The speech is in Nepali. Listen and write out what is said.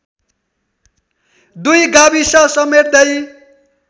दुई गाविस समेट्दै